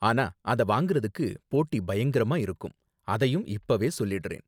ஆனா அத வாங்கறதுக்கு போட்டி பயங்கரமா இருக்கும், அதையும் இப்பவே சொல்லிடுறேன்.